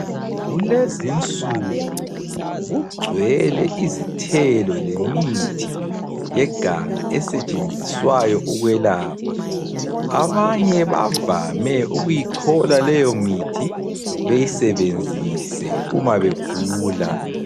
Kulezinsuku kugcwele izithelo lemithi yeganga esetshenziswayo ukwelapha. Abanye bavame ukuyichola leyomithi beyisebenzise uma begula.